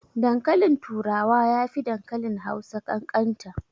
Dankalin turawa yafi dankalin Hausa ƙanƙanta.